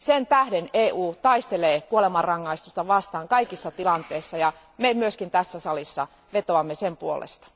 Sen tähden EU taistelee kuolemanrangaistusta vastaan kaikissa tilanteissa ja me myös tässä salissa vetoamme sen puolesta.